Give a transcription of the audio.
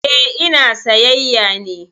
Eh, ina sayyaya ne